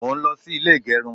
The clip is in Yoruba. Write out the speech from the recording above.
mo n lo sí ilè igerun